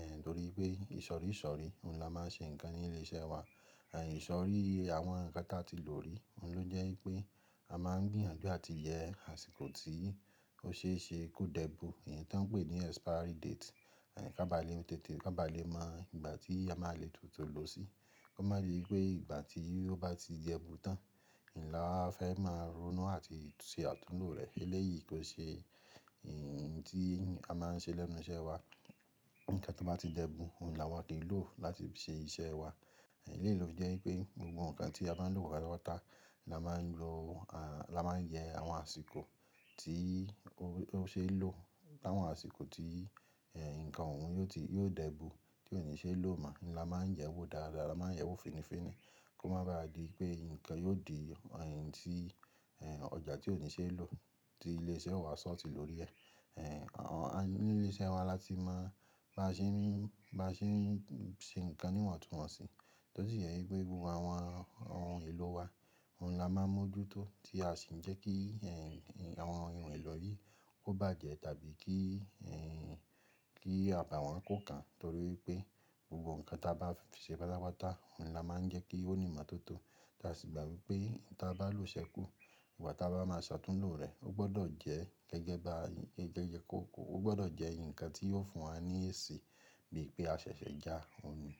ẹ́ nítorí pé ìsọ̀ríìsọ̀rí òhun la máa ń ṣe nǹkan ní ilé iṣẹ́ wa. E ìsọ̀ríì àwọn nǹkan tí a ti lò rí, òhun ló jẹ́ wípé a máa ń gbìyànjú àti yẹ àsìkò tí ó ṣe é ṣe kó dẹ́ bu, èyí tó ń pè ní expiry date. E ká ba lè mọ tètè, ká ba lè mọ ìgbà tí a máa lè tún tó lò ó sí, kó má ba à di pé ìgbà tí ó bá ti di ẹ́ bu tán, òhun la a fẹ́ máa ronú àti ṣe àtúnlo rẹ̀. Eléyìí kò ṣe èèyí tí a máa ń ṣe lẹ́nu iṣẹ́ wa. Ǹkan tó bá ti dẹ́ bu, òhun la wà kò lè lò ó láti ṣe iṣẹ́ wa. Eléeyi lofi jẹ́ wípé gbogbo nǹkan tí a bá ń lò pátápátá, òhun la máa ń lo, à la máa ń yẹ àwọn àsìkò tí ó ṣe é lò áwọn àsìkò tí ẹ́ nǹkan òhun yóò ti, yóò dẹ́ bu tí òní ṣe é lò mọ́. Òhun la máa ń yẹ wo dáadáa, la máa ń yẹ wo finifini kó má ba à di pé nǹkan yóò di ẹ̀yin tí ẹ́ ọjà tí òní ṣe é lò tí ilé iṣẹ́ wa ṣọ̀tí lórí ẹ́. Ẹ̀ Àwọn, ní ilé iṣẹ́ wa la ti máa bá ṣe ń, bá ṣe ń ṣe nǹkan níwọ̀ntúnwọ̀nsì. Tó sì jẹ́ wípé gbogbo àwọn ohun èlò wa, òhun la máa ń mójútó tí a sì ń jẹ́ kí ẹ́ àwọn irun èlo yìí ó bàjẹ́ tàbí kí ẹ́ kí àbàwọ́n kó kán torí wipé gbogbo nǹkan tí a bá fi ṣe pátápátá, òhun la máa ń jẹ́ kí ó ní ìmọ̀ tó tó tí a sì gbà wipé nǹkan tí a bá lò ṣẹ́kù, ìgbà tí a bá máa ṣe àtúnlo rẹ̀ ó gbọdọ̀ jẹ́ gẹ́gẹ́ bá ẹ́ gẹ́gẹ́ kóko, ó gbọdọ̀ jẹ́ nǹkan tí yóò fún wa ní èsì bí pé a ṣẹ̀ṣẹ̀ já òhun ni.